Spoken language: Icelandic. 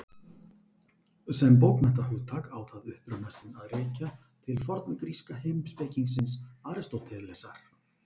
Sem bókmenntahugtak á það uppruna sinn að rekja til forngríska heimspekingsins Aristótelesar.